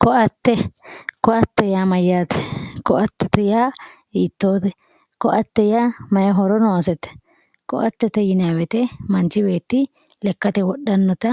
ko"atte ko"atete yaa mayyaate ko"atete yaa hiittoote ko"ate yaa may horo noosete ko"atete yinayii woyiite manchi beetti lekkate wodhannota